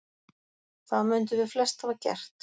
það mundum við flest hafa gert